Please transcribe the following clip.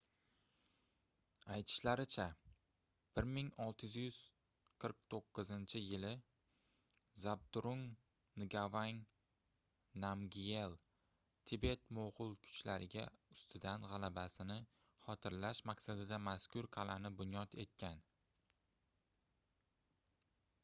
aytishlaricha 1649-yili zabdrung ngavang namgyel tibet-moʻgʻul kuchlariga ustidan gʻalabasini xotirlash maqsadida mazkur qalʼani bunyod etgan